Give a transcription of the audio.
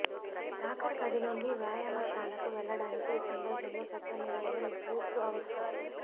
locker గది నుండి వ్యాయామశాలకు వెళ్లడానికి ఈ సందర్భంలో ప్రత్యామ్నాయం బూట్లు అవసరం